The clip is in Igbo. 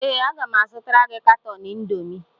Ee, aga m azụtara gị katọn Indomi